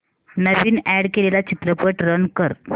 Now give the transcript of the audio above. नवीन add केलेला चित्रपट run कर